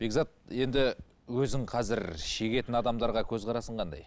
бекзат енді өзің қазір шегетін адамдарға көзқарасың қандай